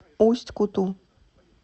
усть куту